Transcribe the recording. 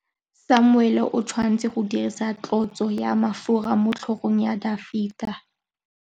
Samuele o tshwanetse go dirisa tlotsô ya mafura motlhôgong ya Dafita.